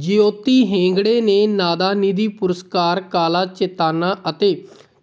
ਜਯੋਤੀ ਹੇਗਡੇ ਨੇ ਨਾਦਾ ਨਿਧੀ ਪੁਰਸਕਾਰ ਕਾਲਾ ਚੇਤਾਨਾ ਅਤੇ